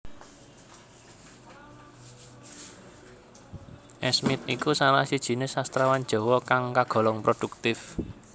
Esmiet iku salah sijiné sastrawan Jawa kang kagolong produktif